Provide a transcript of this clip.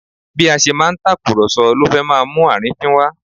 Bí a ṣe máa ń tàkùrọ̀sọ ló fẹ́ máa mú àrínfín wá